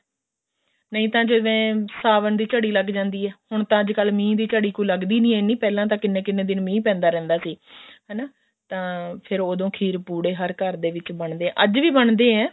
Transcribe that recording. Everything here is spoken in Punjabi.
ਨਹੀਂ ਤਾਂ ਜਿਵੇਂ ਸਾਵਣ ਦੀ ਝੜੀ ਲੱਗ ਜਾਂਦੀ ਆ ਹੁਣ ਤਾਂ ਅੱਜਕਲ ਕੋਈ ਮੀਂਹ ਦੀ ਝੜੀ ਲੱਗਦੀ ਨੀ ਇੰਨੀ ਪਹਿਲਾਂ ਤਾਂ ਕਿੰਨੇ ਕਿੰਨੇ ਦਿਨ ਮੀਂਹ ਪੈਂਦਾ ਰਹਿੰਦਾ ਸੀ ਹਨਾ ਤਾਂ ਫ਼ਰ ਉਦੋਂ ਖੀਰ ਪੁੜੇ ਹਰ ਘਰ ਦੇ ਵਿੱਚ ਬਣਦੇ ਅੱਜ ਵੀ ਬਣਦੇ ਆ